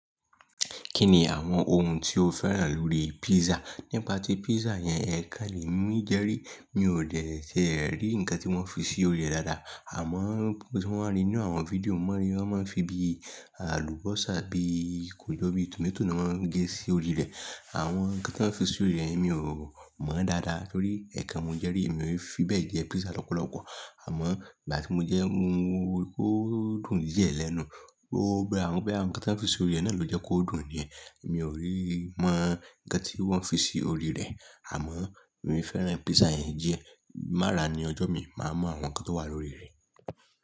Kí ni àwọn ohun tí o féràn lórí pizza? Nípa tí pizza yẹn ẹ̀kan lè mi jẹ́ rí, mi ò tẹ̀ ẹ́ rí ǹkan tí wọ́n fi sí orí rẹ̀ dáadáa. Àmọ́ ohun tí wọ́n rí nínú àwọn fídíò mọ́ rí, wọ́n máa ń fi bí àlùbọ́sà bí kò jọ bí tomato ni wọ́n ń gé sí orí rẹ̀. Àwọn ǹkan tí wọ́n fi sí orí rẹ̀, èmi ò mọ̀ dáadáa torí ẹ̀ẹ̀kan mo jẹ́ rí, èmi ò fi bẹ́ẹ̀ jẹ pizza lọ́pọ̀lọpọ̀. Àmọ́ ìgbà tí mo jẹ, ó dùn díẹ̀ lẹ́nu. Ó bẹ́ẹ̀ wọ́n pé àwọn ǹkan tí wọ́n fi sí orí rẹ̀ náà ló jẹ́ kó dùn ni. Èmi ò rí mọ̀ ǹkan tí wọ́n fi sí orí rẹ̀, àmọ́ èmi fẹ́ràn pizza yẹn jẹ. Marà ni ọjọ́ mi, màá mọ àwọn ǹkan tó wà lórí rẹ̀.